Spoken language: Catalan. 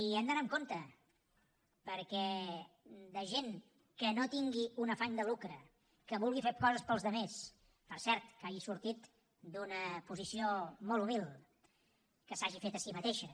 i hem d’anar amb compte perquè de gent que no tingui un afany de lucre que vulgui fer coses pels altres per cert que hagi sortit d’una posició molt humil que s’hagi fet a si mateixa